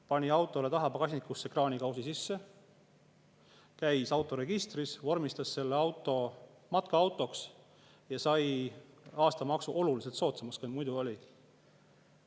Pani auto pagasnikusse kraanikausi sisse, käis autoregistris, vormistas selle auto matkaautoks ja sai aastamaksu oluliselt soodsamaks, kui muidu oli.